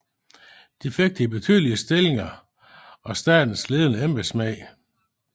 De fik de betydeligste bestillinger af statens ledende embedsmænd